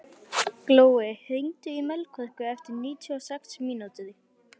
Glói, hringdu í Melkorku eftir níutíu og sex mínútur.